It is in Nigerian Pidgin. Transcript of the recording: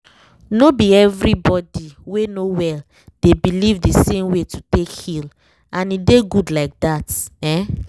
no be every body wey no well dey believe the same way to take heal—and e dey good like that